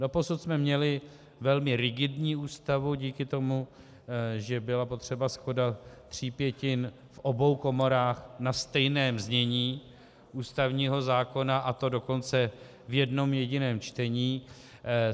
Doposud jsme měli velmi rigidní Ústavu díky tomu, že byla potřeba shoda tří pětin v obou komorách na stejném znění ústavního zákona, a to dokonce v jednom jediném čtení.